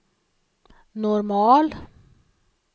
normal